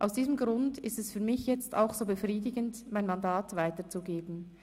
Aus diesem Grund ist es für mich jetzt auch so befriedigend, mein Mandat weiterzugeben.